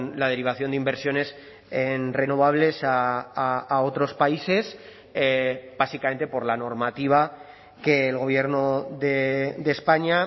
la derivación de inversiones en renovables a otros países básicamente por la normativa que el gobierno de españa